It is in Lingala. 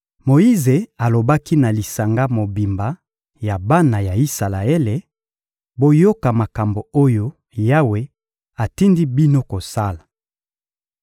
Moyize alobaki na lisanga mobimba ya bana ya Isalaele: «Boyoka makambo oyo Yawe atindi bino kosala: